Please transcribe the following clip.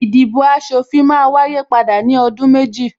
Ìdìbò aṣòfin máa wáyé padà ní ọdún méjì